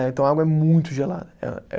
Né, então a água é muito gelada.